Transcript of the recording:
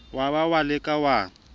wa ba wa leka wa